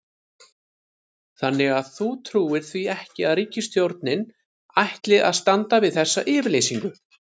Þannig að þú trúir því ekki að ríkisstjórnin ætli að standa við þessa yfirlýsingu?